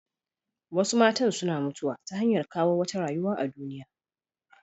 Wasu matan suna mutuwa ta hanyar kawo wata rayuwa a duniya.